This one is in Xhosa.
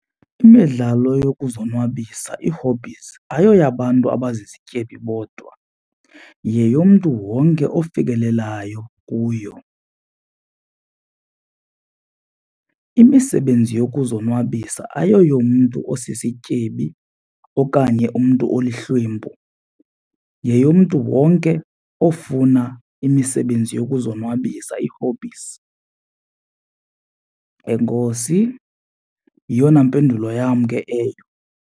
Imidlalo yokuzonwabisa, ii-hobbies, ayoyabantu abazizityebi bodwa yeyomntu wonke ofikelelayo kuyo. Imisebenzi yokuzonwabisa ayiyoyomntu osisityebi okanye umntu olihlwempu, yeyomntu wonke ofuna imisebenzi yokuzonwabisa ii-hobbies. Enkosi, yiyona mpendulo yam ke eyo.